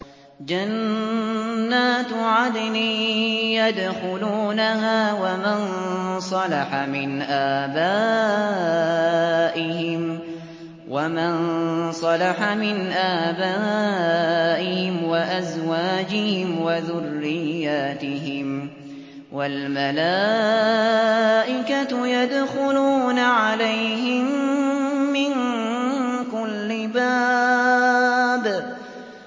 جَنَّاتُ عَدْنٍ يَدْخُلُونَهَا وَمَن صَلَحَ مِنْ آبَائِهِمْ وَأَزْوَاجِهِمْ وَذُرِّيَّاتِهِمْ ۖ وَالْمَلَائِكَةُ يَدْخُلُونَ عَلَيْهِم مِّن كُلِّ بَابٍ